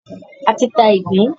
A ti ta ìgbín.